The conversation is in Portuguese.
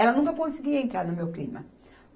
Ela nunca conseguia entrar no meu clima.